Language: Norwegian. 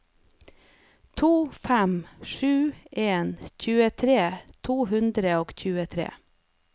to fem sju en tjuetre to hundre og tjuetre